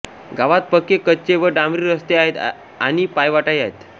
गावात पक्के कच्चे व डांबरी रस्ते आहेत आणि पायवाटाही आहेत